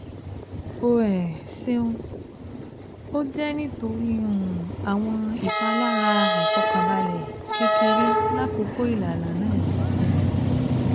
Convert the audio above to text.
O um ṣeun, O jẹ nitori um awọn ipalara aifọkanbalẹ kekere lakoko ilana naa um